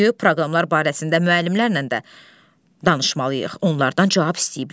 Çünki proqramlar barəsində müəllimlərlə də danışmalıyıq, onlardan cavab istəyiblər.